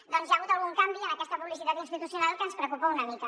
doncs hi ha hagut algun canvi en aquesta publicitat institucional que ens preocupa una mica